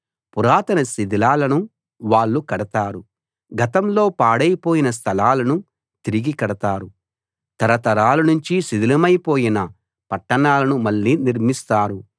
పురాతన శిథిలాలను వాళ్ళు కడతారు గతంలో పాడైపోయిన స్థలాలను తిరిగి కడతారు తరతరాలనుంచి శిథిలమైపోయిన పట్టణాలను మళ్ళీ నిర్మిస్తారు